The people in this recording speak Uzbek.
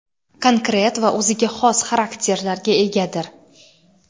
konkret va o‘ziga xos xarakterlarga egadir.